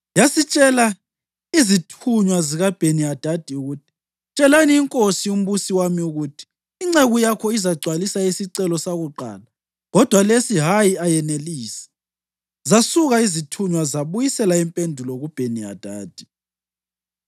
Yasitshela izithunywa zikaBheni-Hadadi ukuthi, “Tshelani inkosi umbusi wami ukuthi, ‘Inceku yakho izagcwalisa isicelo sakuqala kodwa lesi hayi ayenelisi.’ ” Zasuka izithunywa zabuyisela impendulo kuBheni-Hadadi.